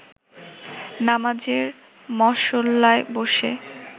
নামাজের মসল্লায় বসে